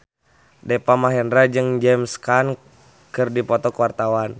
Deva Mahendra jeung James Caan keur dipoto ku wartawan